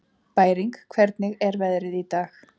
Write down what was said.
Bæring, hvernig er veðrið í dag?